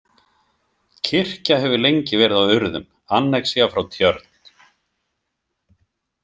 Kirkja hefur lengi verið á Urðum, annexía frá Tjörn.